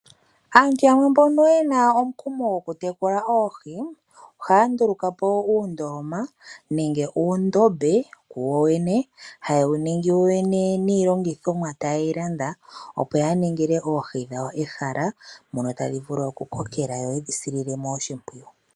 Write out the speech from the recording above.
Aantu yamwe mbono yena omukumo go kutekula oohi ohaya ndulukapo uundoloma nenge uundombe woyene haye wuningi yowene niilongithinwa tayeyi landa opo yaningile ehala lyawo ehala mono tadhi vulu kukokela yoye dhisilemo oshipwiyu.